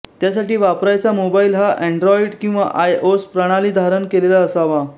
त्यासाठी वापरायचा मोबाईल हा अँड्राॅइड किंवा आय ओस प्रणाली धारण केलेला असावा